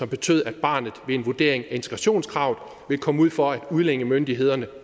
betød at barnet ved en vurdering efter integrationskravet ville komme ud for at udlændingemyndighederne